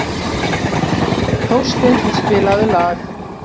Þórsteinn, spilaðu lag.